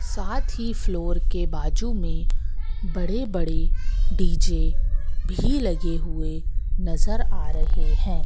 साथ ही फ्लोर के बाजू में बड़े बड़े डी_जे भी लगे हुए नजर आ रहे हैं।